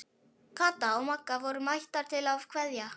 Kata og Magga voru mættar til að kveðja.